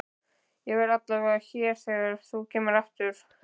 Ég verð allavega hér þegar þú kemur aftur.